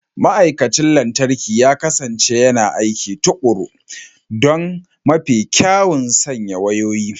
Ma'aikacin lantarki ya kasance yana aiki tuƙuru don mafi kyawun sanya wayoyi.